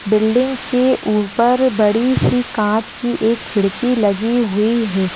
Building के ऊपर बड़ी सी कांच की एक खिड़की लगी हुई है।